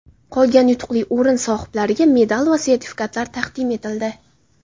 Qolgan yutuqli o‘rin sohiblariga medal va sertifikatlar taqdim etildi.